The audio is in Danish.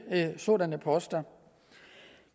en sådan post